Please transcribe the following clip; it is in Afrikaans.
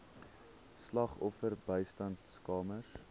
slagoffer bystandskamers